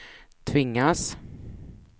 tvingas